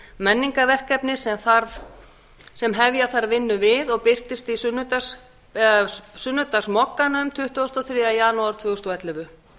menningarverkefni sem hefja þarf vinnu við og birtist í sunnudagsmogganum tuttugasta og þriðja janúar tvö þúsund og ellefu